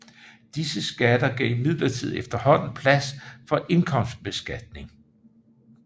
Disse skatter gav imidlertid efterhånden plads for indkomstbeskatning